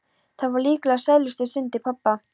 Það voru líklega sælustu stundir pabba.